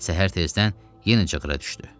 Səhər tezdən yenə cığra düşdü.